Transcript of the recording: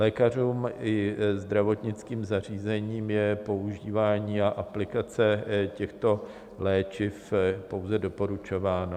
Lékařům i zdravotnickým zařízením je používání a aplikace těchto léčiv pouze doporučováno.